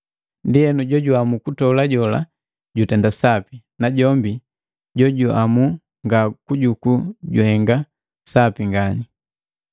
Ndienu jojuhamu kutola jola jutenda sapi, najombi jojuamu ngakujuku juhenga sapi ngani.